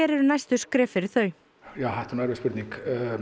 eru næstu skref fyrir þau þetta er nú erfið spurning